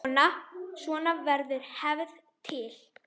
Svona verður hefð til.